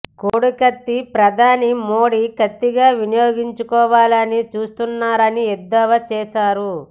కోడి కత్తిని ప్రధాని మోదీ కత్తిగా వినియోగించుకోవాలని చూస్తున్నారని ఎద్దేవా చేశారు